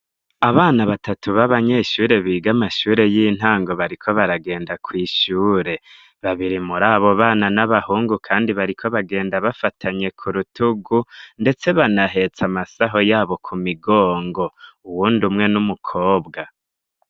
Abana batatu babanyeshure biga amashure y'intango bariko baragenda kwishure, babiri muri abo bana n'abahungu kandi bariko bagenda bafatanye ku rutugu ndetse banahetse amasaho yabo ku migongo uwundi umwe n'umukobwa.